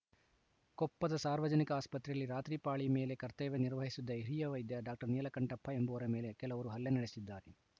ಕೊಪ್ಪದ ಸಾರ್ವಜನಿಕ ಆಸ್ಪತ್ರೆಯಲ್ಲಿ ರಾತ್ರಿ ಪಾಳಿ ಮೇಲೆ ಕರ್ತವ್ಯ ನಿರ್ವಹಿಸುತ್ತಿದ್ದ ಹಿರಿಯ ವೈದ್ಯ ಡಾಕ್ಟರ್ ನೀಲಕಂಠಪ್ಪ ಎಂಬುವರ ಮೇಲೆ ಕೆಲವರು ಹಲ್ಲೆ ನಡೆಸಿದ್ದಾರೆ